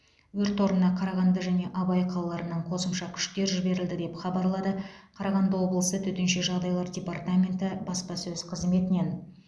өрт орнына қарағанды және абай қалаларынан қосымша күштер жіберілді деп хабарлады қарағанды облысы төтенше жағдайлар департаменті баспасөз қызметінен